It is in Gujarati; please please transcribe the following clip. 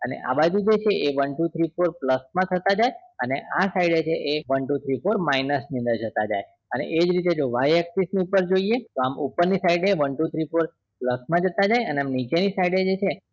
અને આ બાજુ જે છે એ one two three four plus માં થતા જાય અને આ side છે એ one two three four minus ની અંદર થતા જાય અને આજ રીતે જો y access ની ઉપર જોઈએ તો આમ ઉપર ની side એ one two three four plus માં જતા જાય અને આમ નીચે ની side એ જે છે